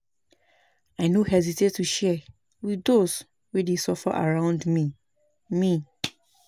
I no hesitate to share with those wey dey suffer around me. me.